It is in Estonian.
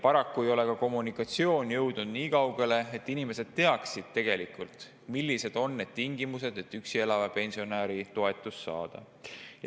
Paraku ei ole ka kommunikatsioon jõudnud nii kaugele, et inimesed teaksid, millised on need tingimused, et üksi elava pensionäri toetust saada.